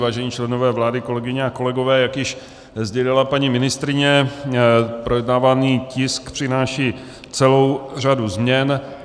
Vážení členové vlády, kolegyně a kolegové, jak již sdělila paní ministryně, projednávaný tisk přináší celou řadu změn.